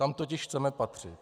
Tam totiž chceme patřit.